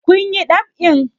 Kun yi ɗab'in?